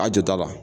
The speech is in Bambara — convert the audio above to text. A jata la